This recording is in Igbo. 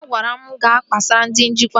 Ha gwara mụ ga kpesara ndị njikwa